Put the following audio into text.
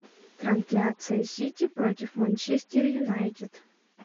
трансляция сити против манчестер юнайтед